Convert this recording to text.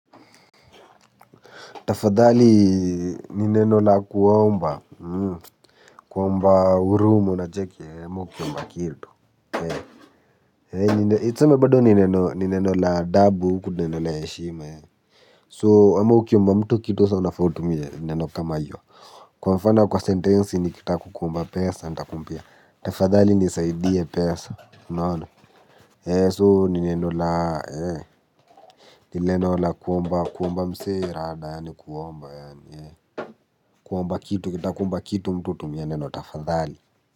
Tafadhali ni neno la kuomba kuomba huruma unacheki ama ukiomba kitu tuseme bado ni neno ni neno la adhabu huku neno la heshima so ama ukiomba mtu kitu unafaa utumie neno kama hiyo kwa mfano kwa sentensi nikitaka kukuomba pesa nitakuambia tafadhali nisaidie pesa unaona. So ni neno la ni neno la kuomba kuomba msee rada yaani kuomba yaani kuomba kitu ukitaka kuomba kitu mtu hutumia neno tafadhali.